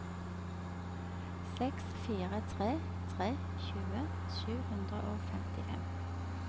seks fire tre tre tjue sju hundre og femtifem